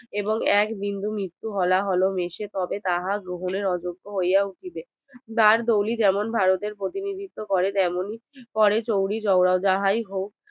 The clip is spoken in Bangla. এবং এক বিন্দু মিত্তু হলা হলে মিশে তবে তাহা গ্রহণের অযোগ্য হইয়া উঠিবে দারদৌলি যেমন ভারতের প্রতিনিধিত্ব করে তেমনী করে চৌরি চৌরাও যাহাই হক